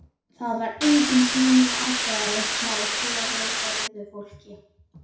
Það var engin sýnileg ástæða hjá svo vel gerðu fólki.